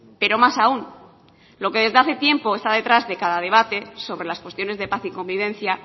pero más aún lo que desde hace tiempo está detrás de cada debate sobre las cuestiones de paz y convivencia